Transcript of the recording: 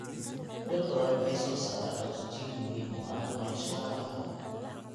Dhir badan waxay soo saaraan oksijiin muhiim u ah nolosha noolaha.